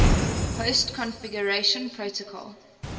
host configuration protocol